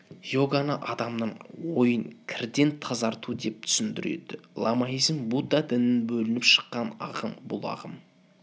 иоганы адамның ойын кірден тазарту деп түсіндіреді ламаизм будда дінінен бөлініп шықкын ағым бұл ағым